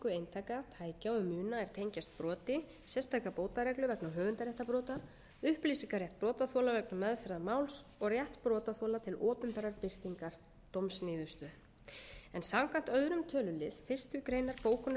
eintaka tækja og muna er tengjast broti sérstaka bótareglu vegna höfundaréttarbrota upplýsingarétt brotaþola vegna meðferðar máls og rétt brotaþola til opinberrar birtingar dómsniðurstöðu samkvæmt öðrum tölulið fyrstu grein bókunar